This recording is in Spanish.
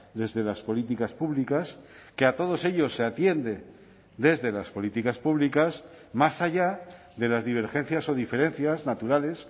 desde las políticas públicas que a todos ellos se atiende desde las políticas públicas más allá de las divergencias o diferencias naturales